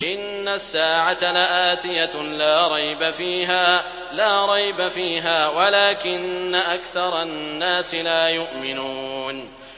إِنَّ السَّاعَةَ لَآتِيَةٌ لَّا رَيْبَ فِيهَا وَلَٰكِنَّ أَكْثَرَ النَّاسِ لَا يُؤْمِنُونَ